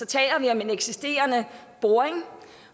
taler vi om en eksisterende boring